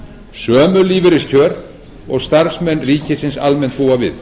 sömu lífeyriskjör og starfsmenn ríkisins almennt búa við